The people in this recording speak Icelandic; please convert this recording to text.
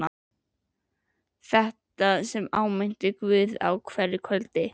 Þetta sem ég áminnti Guð um á hverju kvöldi.